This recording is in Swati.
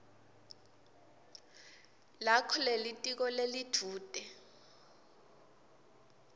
lakho lelitiko lelidvute